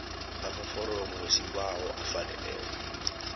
amaforomo wesibawo afaneleko